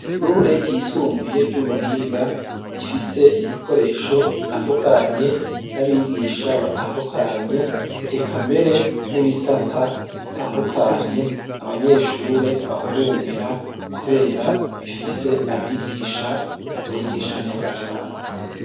Ishure ryisumbuye ry'ubuhinga rifise ibikoresho bitandukanye n'abigisha batandukanye eka mbere n'ibisata bitandukanye abanyeshure bahurumbira kubera bifise abigisha bavyigisha neza cane.